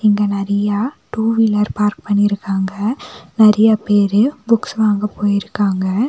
இங்க நெறையா two wheeler park பண்ணிருக்காங்க நெறையா பேரு புக்ஸ் வாங்க போய்ருக்காங்க.